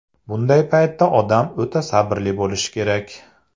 Bunday paytda odam o‘ta sabrli bo‘lishi kerak.